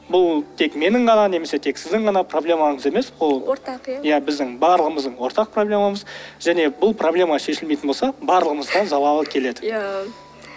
бұл тек менің ғана немесе тек сіздің ғана проблемаңыз емес ол ортақ иә біздің барлығымыздың ортақ проблемамыз және бұл проблема шешілмейтін болса барлығымызға залалы келеді иә